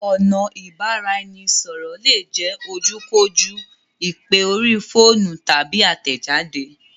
Ọ̀nà Ìbáraẹnisọ̀rọ̀ lè jẹ ojú kò jú, ìpè orí fóònù, tàbí àtẹ̀jade